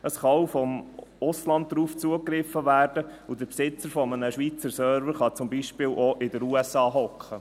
Es kann auch vom Ausland darauf zugegriffen werden, und der Besitzer eines Schweizer Servers kann zum Beispiel auch in der USA sitzen.